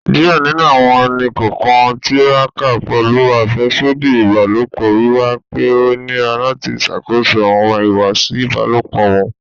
Diẹ ninu awọn ẹni-kọọkan n tiraka pẹlu afẹsodi ibalopọ, wiwa pe o nira lati ṣakoso awọn ihuwasi ibalopọ wọn